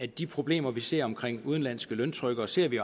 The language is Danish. de problemer vi ser omkring udenlandske løntrykkere ser vi